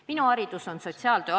Minu haridus on sotsiaaltöö.